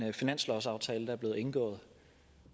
i finanslovsaftalen og